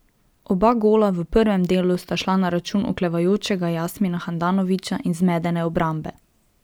Oba gola v prvem delu sta šla na račun oklevajočega Jasmina Handanovića in zmedene obrambe.